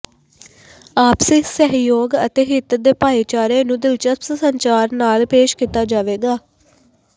ਆਪਸੀ ਸਹਿਯੋਗ ਅਤੇ ਹਿੱਤ ਦੇ ਭਾਈਚਾਰੇ ਨੂੰ ਦਿਲਚਸਪ ਸੰਚਾਰ ਨਾਲ ਪੇਸ਼ ਕੀਤਾ ਜਾਵੇਗਾ